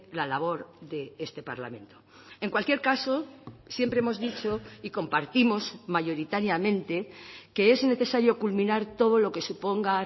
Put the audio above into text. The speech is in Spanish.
la labor de este parlamento en cualquier caso siempre hemos dicho y compartimos mayoritariamente que es necesario culminar todo lo que suponga